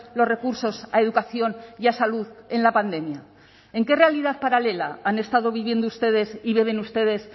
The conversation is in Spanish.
los recursos a educación y a salud en la pandemia en qué realidad paralela han estado viviendo ustedes y viven ustedes